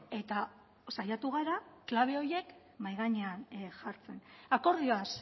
eta saiatu gara klabe horiek mahai gainean jartzen akordioaz